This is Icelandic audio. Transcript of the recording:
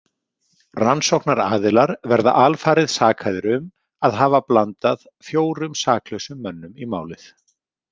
Rannsóknaraðilar verða alfarið sakaðir um að hafa blanda fjórum saklausum mönnum í málið.